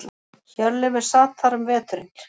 Hjörleifur sat þar um veturinn.